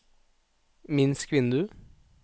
minsk vindu